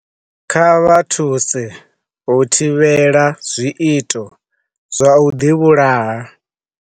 Kha vha thuse u thivhela zwiito zwa u ḓivhulaha.